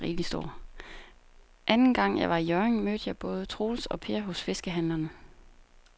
Anden gang jeg var i Hjørring, mødte jeg både Troels og Per hos fiskehandlerne.